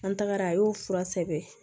An tagara a y'o fura sɛbɛn